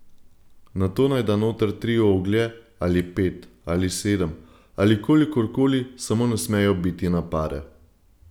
Nato naj da noter tri oglje ali pet, ali sedem, ali kolikor koli, samo ne smejo biti na pare.